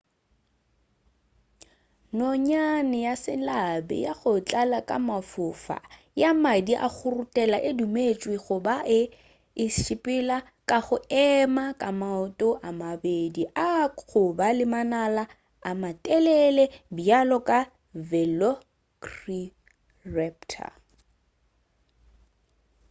nonyane ya selabi ya go tlala ka mafofa ya madi a go ruthela e dumetšwe go ba e be e sepela ka go ema ga maoto a mabedi a goba le manala a matelele bjalo ka velociraptor